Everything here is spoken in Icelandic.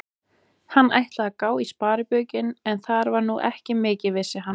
Hann ætlaði að gá í sparibaukinn, en þar var nú ekki mikið, vissi hann.